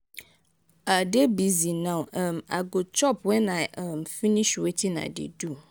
i dey busy now um i go chop wen i um finish wetin i dey do.